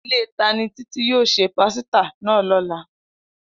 Ile tani Titi yoo se pasita naa lola?